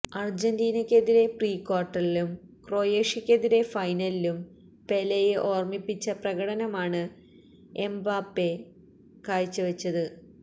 അർജന്റീനക്കെതിരായ pre ക്വാർട്ടറിലും ക്രൊയേഷ്യക്കെതിരായ ഫൈനലിലും പെലെയെ ഓർമിപ്പിച്ച പ്രകടനമാണ് എംബാപ്പെ കാഴ്ചവെച്ചത്